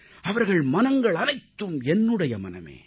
அவர்கள் மனங்கள் அனைத்தும் என்னுடைய மனமே